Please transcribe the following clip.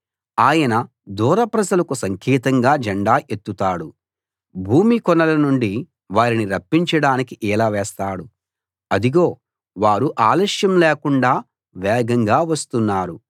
ఆయన దూర ప్రజలకు సంకేతంగా జెండా ఎత్తుతాడు భూమి కొనల నుండి వారిని రప్పించడానికి ఈల వేస్తాడు అదిగో వారు ఆలస్యం లేకుండా వేగంగా వస్తున్నారు